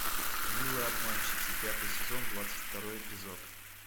милые обманщицы пятый сезон двадцать второй эпизод